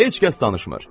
Heç kəs danışmır.